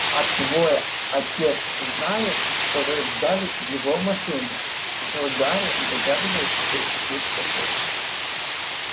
а твой отец знает что вы взяли его машину спросил гарри догадываясь какой услышит ответ